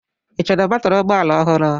Ị chọrọ batrị ụgbọ ala ọhụrụ?